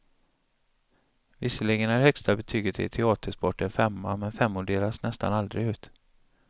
Visserligen är det högsta betyget i teatersport en femma, men femmor delas nästan aldrig ut.